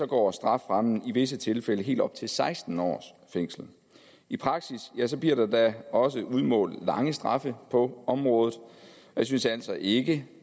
går strafferammen i visse tilfælde helt op til seksten års fængsel i praksis bliver der da også udmålt lange straffe på området jeg synes altså ikke